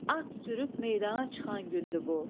At sürüb meydana çıxan gündür bu.